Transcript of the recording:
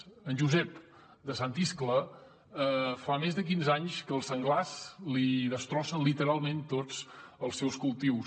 a en josep de sant iscle fa més de quinze anys que els senglars li destrossen literalment tots els seus cultius